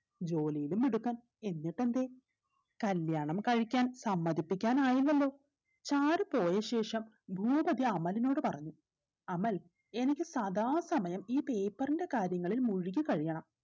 ജോലിയിലും മിടുക്കൻ എന്നിട്ടെന്തേ കല്യാണം കഴിക്കാൻ സമ്മതിപ്പിക്കാനായില്ലല്ലോ ചാരു പോയ ശേഷം ഭൂപതി അമലിനോട് പറഞ്ഞു അമൽ എനിക്ക് സദാ സമയം ഈ paper ന്റെ കാര്യങ്ങളിൽ മുഴുകി കഴിയണം